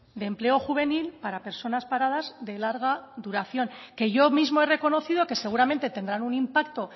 de empleo juvenil para personas paradas de larga duración que yo mismo he reconocido que seguramente tendrán un impacto